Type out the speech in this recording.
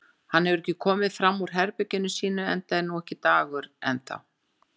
Hann hefur ekki komið fram úr herberginu sínu enda er nú ekki dagur enn þá.